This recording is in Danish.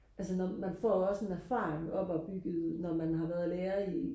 altså når man man får også en erfaring opbygget når man har været lærer i